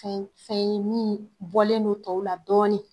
Fɛn fɛn ye minnu bɔlen don tɔw la dɔɔni